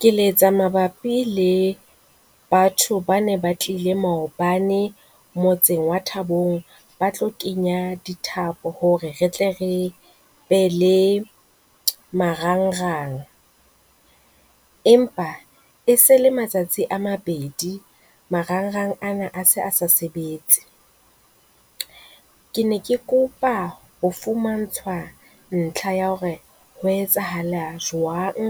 Ke letsa mabapi le batho ba ne ba tlile maobane motseng wa Thabong, ba tlo kenya dithapo hore re tle re be le marangrang. Empa e se e le matsatsi a mabedi marangrang ana a se a sa sebetse, ke ne ke kopa ho fumantshwa ntlha ya hore ho etsahala jwang.